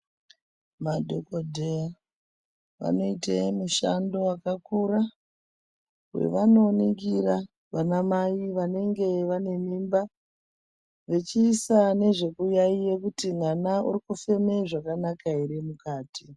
Madhokodheya vanoite mushando wakakura, wevanoningira vanamai vanenge vane mimba, vechiisa nezvekuyaiya kuti mwana urikufeme zvakanaka ere mukati?